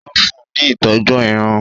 Ó fún un ní ìtọ́jú Irun